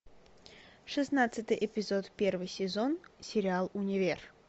шестнадцатый эпизод первый сезон сериал универ